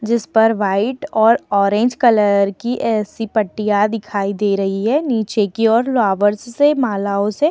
जिस पर व्हाइट और ऑरेंज कलर की ऐसी पट्टियां दिखाई दे रही है। नीचे की ओर लावर्स से मालाओं से।